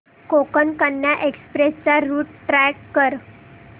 Konkan Kanya express चा route track कर